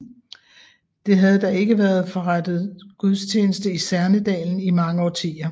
Der havde da ikke været forrettet gudstjeneste i Særnedalen i mange årtier